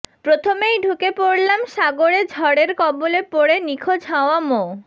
প্রথমেই ঢুকে পড়লাম সাগরে ঝড়ের কবলে পড়ে নিখোঁজ হওয়া মো